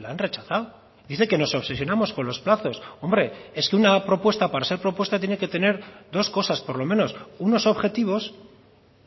la han rechazado dice que nos obsesionamos con los plazos hombre es que una propuesta para ser propuesta tiene que tener dos cosas por lo menos unos objetivos